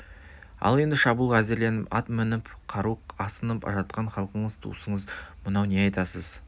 ал енді шабуылға әзірленіп ат мініп қару асынып жатқан халқыңыз туысыңыз мынау не айтасыз